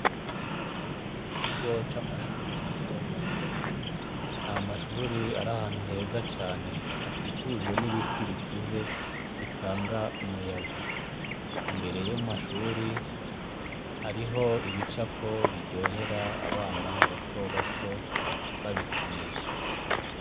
Mu kigo c' amashuri matomato, n' amashur' ar' ahantu heza can' akikujwe n' ibiti bikunze bitang' umuyaga, imbere yo mu mashure harih' ibicapo biryoher' abana batobato babikinisha.